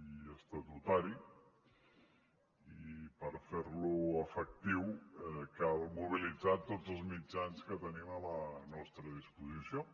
i estatutari i per fer lo efectiu cal mobilitzar tots els mitjans que tenim a la nostra disposició